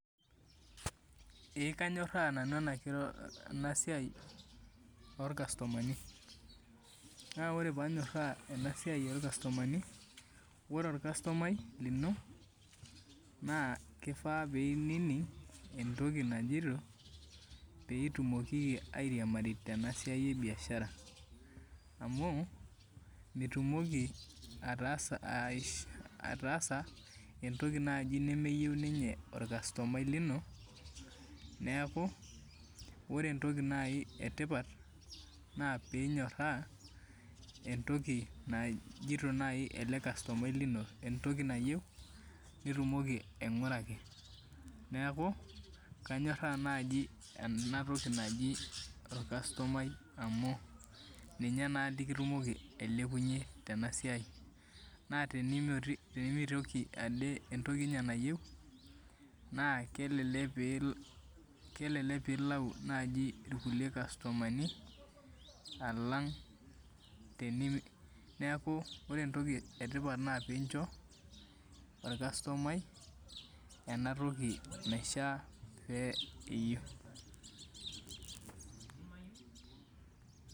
E kanyoraa nanu enasiai orkastomani na ore panyoraa enasiai orkastomani na ore ornastomai lino na kifaa pinining entoki najito pitumoki airiamari tenebo tenasiai ebiashara amu mitumoki ataasa entoki nai nemeyieu ninye orkastomai lino neaku ore entoki etipat na pinyoraa entoki najito nai elekastomai lino entoki nayieu nitumokibaingieaki neaku kanyoraa naji entoki naji orkastomai amu minye na likitimoki ailepunye tenasiai ore pemitoki entoki nye nayieu na kelek pilau na irkulie kastomani alang neaku ore entoki etipat na pincho orkastomai enatoki naishoo .